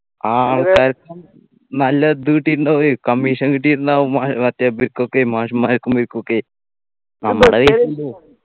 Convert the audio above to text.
ആ നല്ല ഇത് കിട്ടിയിട്ടുണ്ടാവുഎ commission കിട്ടിയിട്ടുണ്ടാവും മാ ഏർ മറ്റെ ഇവർക്കൊക്കെ മാഷിമാർക്കും ഇവക്കൊക്കെ നമ്മുടെ കയ്യിന്നു പോകും